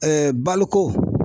baloko